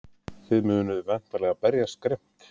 Þið munið væntanlega berjast grimmt?